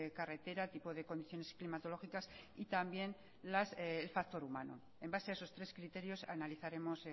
carretera tipo de condiciones climatológicas y también el factor humano en base a esos tres criterios analizaremos